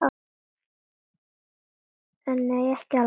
En nei, ekki alveg.